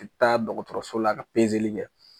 U bi taa dɔgɔtɔrɔso la ka kɛ